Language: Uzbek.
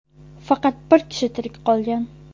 Faqat bir kishi tirik qolgan.